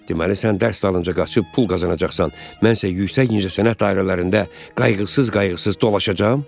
Deməli, sən dərs dalınca qaçıb pul qazanacaqsan, mən isə yüksək incəsənət dairələrində qayğısız-qayğısız dolaşacam?